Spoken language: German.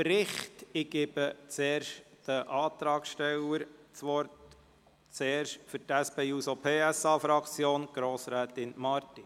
Ich gebe den Antragstellern das Wort, zuerst für die SP-JUSO-PSA-Fraktion, Grossrätin Marti.